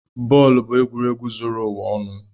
Bọọlụ bụ egwuregwu zuru ụwa ọnụ.